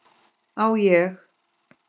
Á ég?